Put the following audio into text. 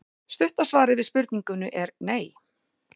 Stutta svarið við spurningunni er nei.